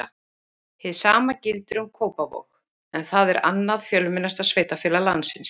hið sama gildir um kópavog en það er annað fjölmennasta sveitarfélag landsins